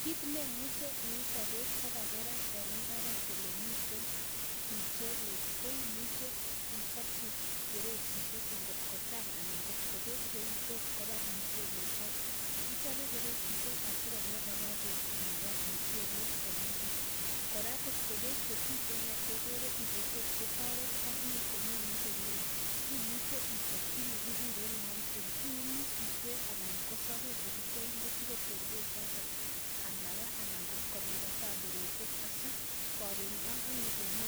Kit neimucheee iyatitee peeek Che kachanganya Eng imbar iyatee mutaroiit asigopit kopa peeek anan iyae kii nekikureen (mulching) si mapaapeeek